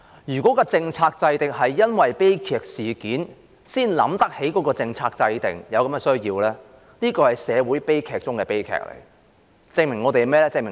如果是因為有悲劇事件才想起有政策制訂的需要，這是社會悲劇中的悲劇，證明了甚麼呢？